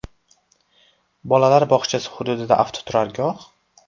Bolalar bog‘chasi hududida avtoturargoh?